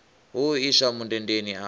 hu u iswa mundendeni a